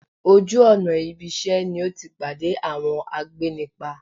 Ojú ọ̀nà ibisẹ́ ni o ti pade awọn agbénipa